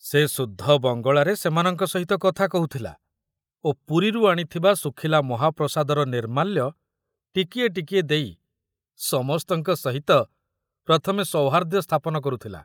ସେ ଶୁଦ୍ଧ ବଙ୍ଗଳାରେ ସେମାନଙ୍କ ସହିତ କଥା କହୁଥିଲା ଓ ପୁରୀରୁ ଆଣିଥିବା ଶୁଖିଲା ମହାପ୍ରସାଦର ନିର୍ମାଲ୍ୟ ଟିକିଏ ଟିକିଏ ଦେଇ ସମସ୍ତଙ୍କ ସହିତ ପ୍ରଥମେ ସୌହାର୍ଦ୍ଦ‍୍ୟ ସ୍ଥାପନ କରୁଥିଲା।